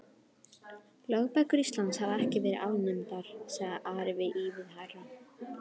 Lögbækur Íslands hafa ekki verið afnumdar, sagði Ari ívið hærra.